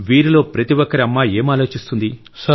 వీరిలో ప్రతి ఒక్కరి అమ్మ ఏం ఆలోచిస్తుంది